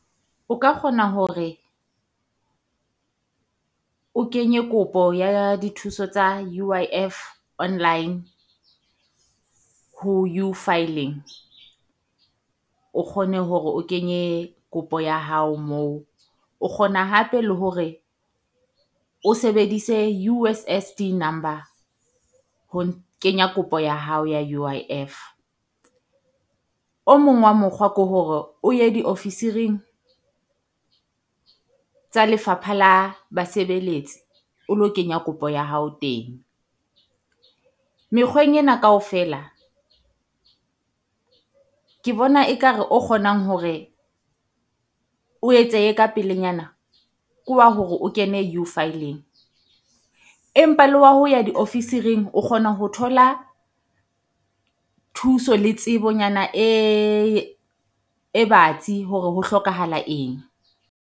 O ka kgona hore o kenye kopo ya dithuso tsa U_I_F online, ho u-filing. O kgone hore o kenye kopo ya hao moo. O kgona hape le hore o sebedise U_S_S_D number ho kenya kopo ya hao ya U_I_F. O mong wa mokgwa ke hore o ye diofisiring tsa Lefapha la Basebeletsi o lo kenya kopo ya hao teng. Mekgweng ena kaofela ke bona e ka re o kgonang hore o etsehe ka pelenyana, ke wa hore o kene u-filing. Empa le wa ho ya diofisiring o kgona ho thola thuso le tsebonyana e e batsi hore ho hlokahala eng.